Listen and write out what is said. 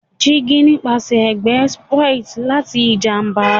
Digi nipasẹ awọn ẹgbẹ spoiled lati ijamba